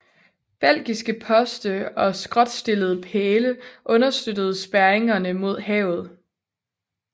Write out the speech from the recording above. Belgiske poste og skråtstillede pæle understøttede spærringerne mod havet